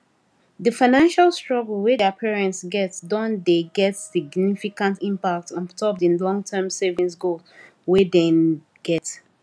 the financial struggle wey thier parents get don dey get significant impact ontop the longterm savings goals wey den get